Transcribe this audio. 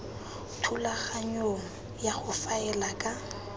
thulaganyong ya go faela ka